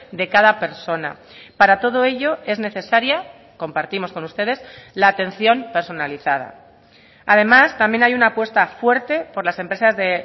de cada persona para todo ello es necesaria compartimos con ustedes la atención personalizada además también hay una apuesta fuerte por las empresas de